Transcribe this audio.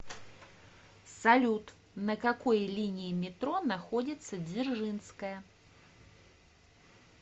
салют на какой линии метро находится дзержинская